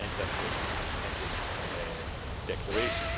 End of the intended declaration.